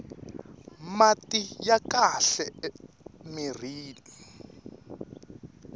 mati ya kahle mirhini